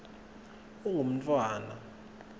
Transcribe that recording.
ungumntfwana